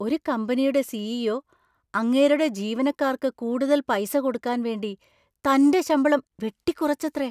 ഒരു കമ്പനിയുടെ സി.ഇ.ഒ. അങ്ങേരുടെ ജീവനക്കാർക്ക് കൂടുതൽ പൈസ കൊടുക്കാൻ വേണ്ടി തന്‍റെ ശമ്പളം വെട്ടിക്കുറച്ചത്രേ!